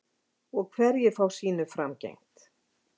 Og hverjir fá sínu framgengt?